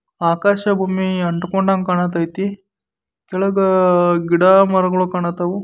ಆಕಾಶ ಭೂಮಿ ಅಂತುಕೊಂಡಂಗೆ ಕಾಣುತೈತಿ ಕೆಳಗ ಗಿಡ ಮರಗಳು ಕಾಣುತವು.